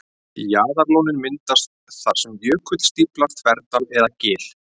Jaðarlónin myndast þar sem jökull stíflar þverdal eða gil.